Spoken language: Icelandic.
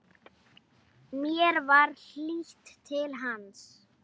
Mér var hlýtt til hans.